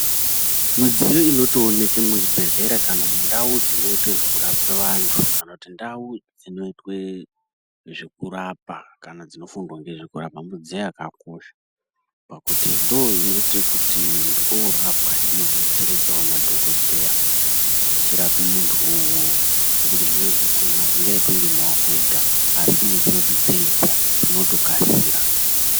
Mudziyo inotooneke muzvibhehlera kana mundau dzinoitwe zvekurapa kana dzinofundwa ngezvekurapa midziyo yakakosha pakuti ndoinoite kuti muntu orapwa inodetseredzawo madhokodheya eirapa muntuwowo ngekuti zvimweni zvakhona azvingaitwi ngemaokonega asi midziyodzo dziripo zvinotokasira.